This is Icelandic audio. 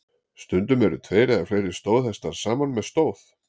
Stundum eru tveir eða fleiri stóðhestar saman með stóð.